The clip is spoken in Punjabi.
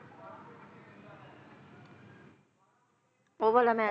ਉਹ ਵਾਲਾ ਮੈਚ